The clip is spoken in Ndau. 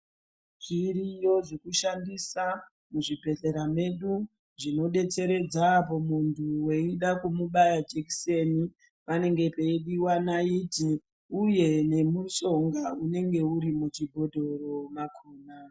Zviriyo zvekushandisa muzvibhehlera mwedu zvinodetseredza apo muntu weida kumubaya jekiseni panenge peidiwa naiti uye nemushonga unenge uri muchibhodhoro mwakona.